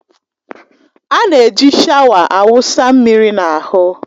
A na-eji shawa a wụsa mmiri n'ahụ.